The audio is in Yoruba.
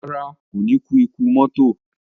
Rárá, kò ní kú ikú mọ́tò